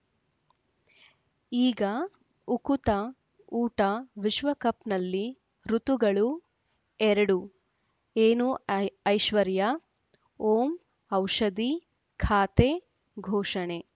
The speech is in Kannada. ಈಗ ಉಕುತ ಊಟ ವಿಶ್ವಕಪ್‌ನಲ್ಲಿ ಋತುಗಳು ಎರಡು ಏನು ಐ ಐಶ್ವರ್ಯಾ ಓಂ ಔಷಧಿ ಖಾತೆ ಘೋಷಣೆ